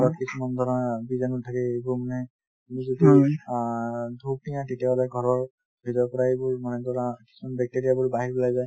কিছুমান ধৰা বিজানু থাকে এইবোৰ মানে অ ধুপ দিয়া তেতিয়াহলে ঘৰৰ ভিতৰৰ পৰা এইবোৰ মানে ধৰা কিছুমান bacteria বোৰ বাহিৰ ওলাই যায়।